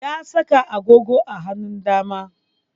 Ya saka agogon a hanun dama